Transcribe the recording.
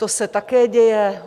To se také děje.